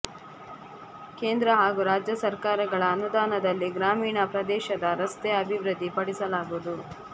ಕೇಂದ್ರ ಹಾಗೂ ರಾಜ್ಯ ಸರ್ಕಾರಗಳ ಅನುದಾನದಲ್ಲಿ ಗ್ರಾಮೀಣ ಪ್ರದೇಶದ ರಸ್ತೆ ಅಭಿವೃದ್ಧಿಪಡಿಸಲಾಗುವುದು